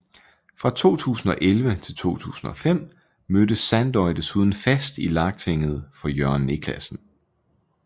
Fra 2011 til 2015 mødte Sandoy desuden fast i Lagtinget for Jørgen Niclasen